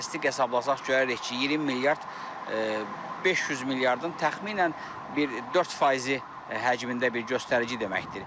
Statistik hesablasaq görərik ki, 20 milyard 500 milyardın təxminən bir 4% həcmində bir göstərici deməkdir.